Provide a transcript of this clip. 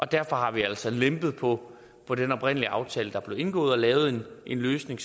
derfor har vi altså lempet på på den oprindelige aftale der blev indgået og lavet en løsning